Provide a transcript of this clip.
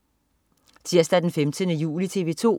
Tirsdag den 15. juli - TV 2: